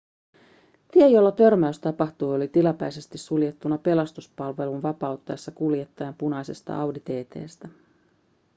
tie jolla törmäys tapahtui oli tilapäisesti suljettuna pelastuspalvelun vapauttaessa kuljettajan punaisesta audi tt:stä